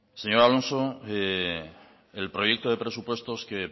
señor alonso el proyecto de presupuestos que